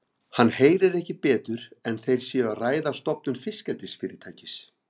Hann heyrir ekki betur en þeir séu að ræða stofnun fiskeldisfyrirtækis.